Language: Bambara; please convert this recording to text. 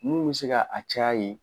Mun bɛ se ka a caya yen